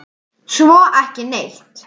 Svo ekki neitt.